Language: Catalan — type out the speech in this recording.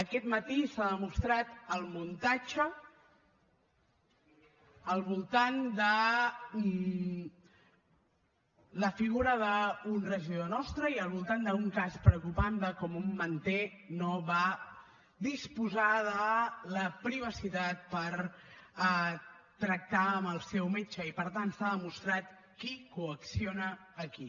aquest matí s’ha demostrat el muntatge al voltant de la figura d’un regidor nostre i al voltant d’un cas preocupant de com un manter no va disposar de la privacitat per tractar amb el seu metge i per tant s’ha demostrat qui coacciona a qui